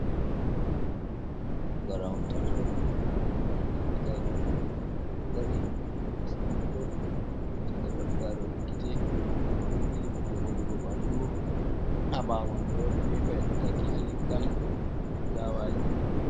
Pukaraawon tato, janngooɓe likitaaku, ɓe ɗo dari, ɓe hoosi hooto, mo won caka ɗo mari daarooɗe gite, o ɗo ɓili hunde godugo ɓandu haa ɓaawo maɓɓe woodi peepa yel ɗo takki haa leggal ɗo fulaawaaji.